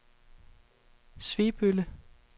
Svebølle